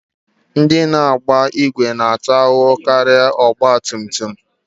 Ndị na-agba ìgwè na-ata ahụhụ karịa ọgbatumtum